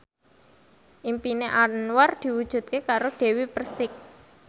impine Anwar diwujudke karo Dewi Persik